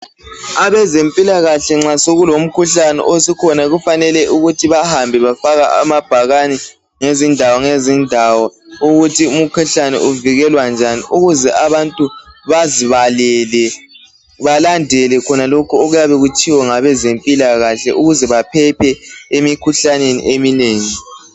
Abezempilakahle nxa sokulomkhuhlane okhona kufanele bahambe befaka amabhakani ngezindawo ngazindawo ukuthi umkhuhlane uvikelwa njani ukuze abantu bezibalele belandele khonokho okuyabe kutshiwo ngabezempilakahle ukuze baphephe emikhuhlaneni eminengi